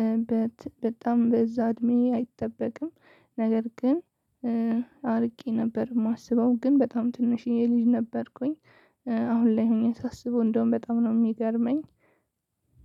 እ በት በጣም በዛ እድሜ አይጠበቅም። ነገር ግን እ አርቄ ነበር የማስበው ግን በጣም ትንሽዬ ልጅ ነበርኩኝ። እ አሁን ላይ ሆኜ ሳስበው እንደውም በጣም ነው የሚገርመኝ።